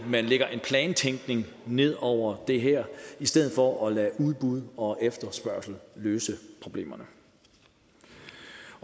man lægger en plantænkning ned over det her i stedet for at lade udbud og efterspørgsel løse problemerne